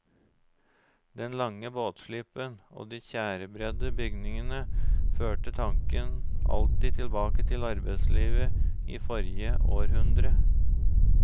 Den lange båtslippen og de tjærebredde bygningene førte tanken alltid tilbake til arbeidslivet i forrige århundre.